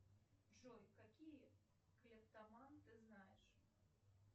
джой какие клептоман ты знаешь